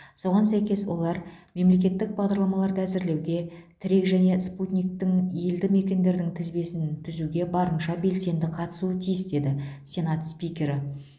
соған сәйкес олар мемлекеттік бағдарламаларды әзірлеуге тірек және спутниктің елді мекендердің тізбесін түзуге барынша белсенді қатысуы тиіс деді сенат спикері